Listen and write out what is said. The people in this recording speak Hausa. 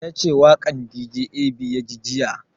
Ya ce waƙan dj ab ya ji jiya